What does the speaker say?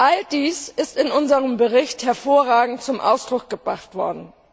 All dies ist in unserem Bericht hervorragend zum Ausdruck gebracht worden.